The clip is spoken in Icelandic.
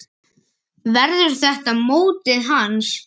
Verður þetta mótið hans?